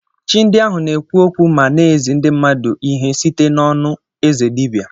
Chi ndị ahụ na-ekwu okwu ma na-ezi ndị mmadụ ihe site n’onu eze dibịa.